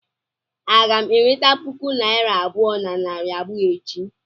Aga m eweta puku naira abụọ na narị abụọ echi?